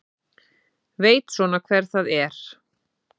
Veit svona hver það er.